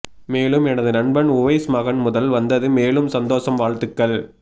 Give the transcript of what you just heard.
மேலும் எனது நண்பன் உவைஸ் மகன் முதல் வந்தது மேலும் சந்தோசம் வாழ்த்துக்கள்